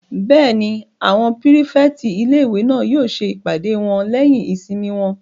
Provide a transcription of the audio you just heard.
Bẹ́ẹ̀ni, àwọn pírífẹ̀tì ilé-ìwé náà yóò ṣe ìpàdé wọn lẹ́yìn ìsinmi wọn